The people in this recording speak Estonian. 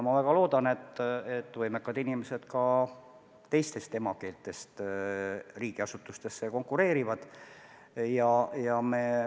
Ma väga loodan, et võimekad inimesed, kellel on teine emakeel, kandideerivad riigiasutustesse.